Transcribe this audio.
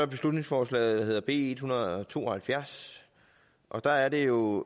beslutningsforslag der hedder b en hundrede og to og halvfjerds og der er det jo